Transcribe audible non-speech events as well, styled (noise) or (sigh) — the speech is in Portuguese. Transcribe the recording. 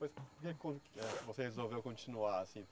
(unintelligible) eh você resolveu continuar, assim?